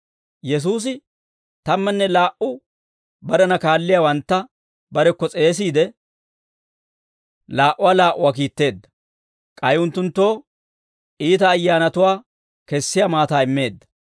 Yesuusi tammanne laa"u barena kaalliyaawantta barekko s'eesiide, laa"uwaa laa"uwaa kiitteedda; k'ay unttunttoo iita ayyaanatuwaa kessiyaa maataa immeedda.